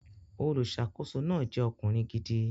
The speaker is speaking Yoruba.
Olùsàkóso náà jẹ́ ọkùnrin gidi